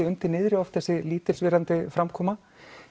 undir niðri þessi lítilsvirðandi framkoma